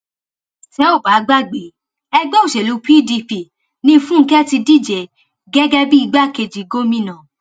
tẹ ò bá gbàgbé ẹgbẹ òṣèlú pdp ní fúnkẹ ti díje gẹgẹ bíi igbákejì gómìnà